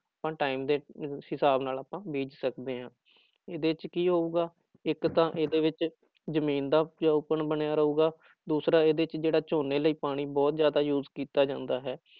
Time ਦੇ ਹਿਸਾਬ ਨਾਲ ਆਪਾਂ ਬੀਜ ਸਕਦੇ ਹਾਂ ਇਹਦੇ ਚ ਕੀ ਹੋਊਗਾ, ਇੱਕ ਤਾਂ ਇਹਦੇ ਵਿੱਚ ਜ਼ਮੀਨ ਦਾ ਉਪਜਾਊਪੁਣ ਬਣਿਆ ਰਹੇਗਾ, ਦੂਸਰਾ ਇਹਦੇ ਚ ਜਿਹੜਾ ਝੋਨੇ ਲਈ ਪਾਣੀ ਬਹੁਤ ਜ਼ਿਆਦਾ ਯੂਜ ਕੀਤਾ ਜਾਂਦਾ ਹੈ।